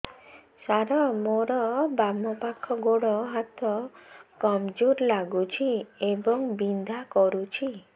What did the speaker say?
ସାର ମୋର ବାମ ପାଖ ଗୋଡ ହାତ କମଜୁର ଲାଗୁଛି ଏବଂ ବିନ୍ଧା କରୁଛି